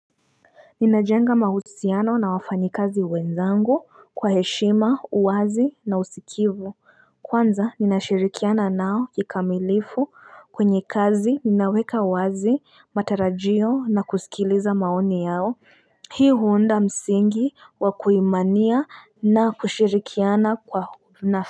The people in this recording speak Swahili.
Ninajenga mahusiano na wafanyi kazi wenzangu kwa heshima uwazi na usikivu Kwanza nina shirikiana nao kikamilifu kwenye kazi ninaweka uwazi matarajio na kusikiliza maoni yao Hii huunda msingi wa kuimania na kushirikiana kwa na.